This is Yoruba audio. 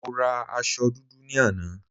Mo ra aṣọ dúdú ní àná